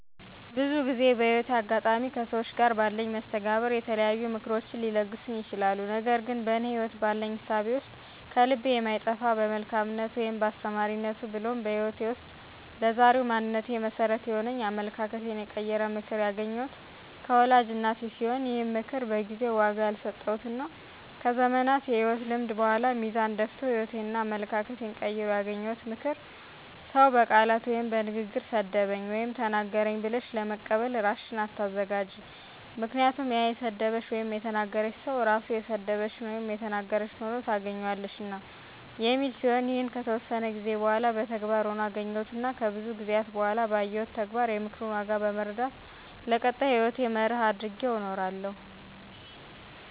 ብዙ ጊዜ በህይወቴ አጋጣሚ ከሠዎች ጋር ባለኝ መስተጋብር የተለያዩ ምክሮችን ሊለግሱኝ ይችላሉ። ነገር ግን በእኔ ህይወት ባለኝ እሳቤ ውስጥ ከልቤ የማይጠፋ በመልካምነቱ ወይም በአስተማሪነቱ ብሎም በህይወቴ ውስጥ ለዛሬው ማንነቴ መሠረት የሆነኝ አመለካከቴን የቀየረ ምክር ያገኘሁት ከወላጅ እናቴ ሲሆን ይህም ምክር በጊዜው ዋጋ ያልሰጠሁትና ከዘመናት የህይወት ልምድ በኃላ ሚዛን ደፍቶ ህይወቴንና አመለካከቴን ቀይሮ ያገኘሁት ምክር "ሰው በቃላት ወይም በንግግር ሰደበኝ ወይም ተናገረኝ ብለሽ ለበቀል እራስሽን አታዘጋጅ ምክንያቱም ያ የሰደበሽ / የተናገረሽ ሰው ራሱ የሰደበሽን / የተናገረሽን ሆኖ ታገኝዋለሽና" የሚል ሲሆን ይህንንም ከተወሰነ ጊዜ በኃላ በተግባር ሆኖ አገኘሁትና ከብዙ ጊዜአት በኃላ ባየሁት ተግባር የምክሩን ዋጋ በመረዳት ለቀጣይ ህይወቴ መርህ አድርጌው እኖራለሁ።